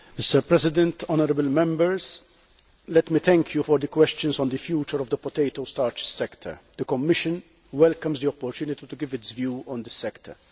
Mr President, honourable Members, thank you for your questions on the future of the potato starch sector. The Commission welcomes the opportunity to give its view on this sector.